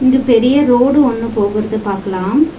இப் பெரிய ரோடு ஒன்னு போகுறத பாக்கலாம்.